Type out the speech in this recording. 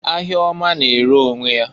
Ahia ọma na-ere onwe ya.